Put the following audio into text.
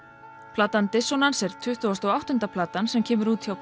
platan er tuttugasta og áttunda platan sem kemur út hjá